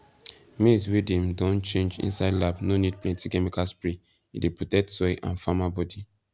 maize wey dem don change inside lab no need plenty chemical spray e dey protect soil and farmer body